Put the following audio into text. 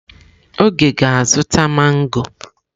Oge ga-azụta mangọ.